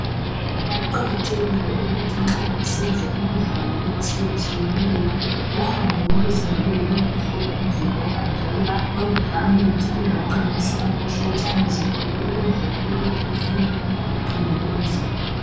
Kuqakathekile ukuthi nxa usenza imdlalo etshiye tshiyeneyo, uhambe kwabezempio bayekuhlola umzimba wakho njalo bakuphe imithi engaqinisa amasotsha omzimba wakho ukwenzela ukuthi uhlale uqinile umzimba.